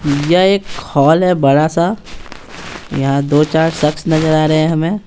यह एक हॉल है बड़ा सा यहां दो-चार शख्स नजर आ रहे हैं हमें।